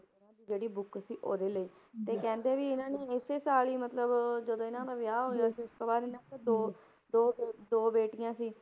ਜਿਹੜੀ book ਸੀ ਉਹਦੇ ਲਈ ਤੇ ਕਹਿੰਦੇ ਵੀ ਇਹਨਾਂ ਨੇ ਇਸੇ ਸਾਲ ਹੀ ਮਤਲਬ ਜਦੋਂ ਇਹਨਾਂ ਦਾ ਵਿਆਹ ਹੋਇਆ ਸੀ, ਉਸ ਤੋਂ ਬਾਅਦ ਇਹਨਾਂ ਦਾ ਦੋ ਦੋ ਦੋ ਬੇਟੀਆਂ ਸੀ